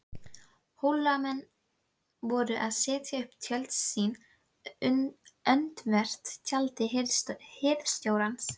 Hólamenn voru að setja upp tjöld sín öndvert tjaldi hirðstjórans.